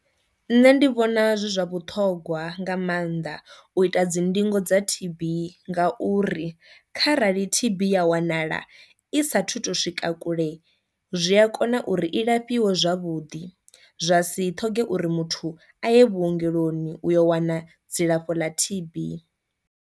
Nṋe ndi vhona zwi zwa vhuṱhogwa nga maanḓa u ita dzi ndingo dza T_B nga uri kharali T_B ya wanala i sathu to swika kule zwi a kona uri i lafhiwe zwavhuḓi zwa si ṱhoge uri muthu a ye vhuongeloni u yo wana dzilafho ḽa T_B.